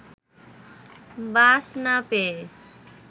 বাস না পেয়ে